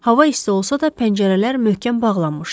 Hava isti olsa da, pəncərələr möhkəm bağlanmışdı.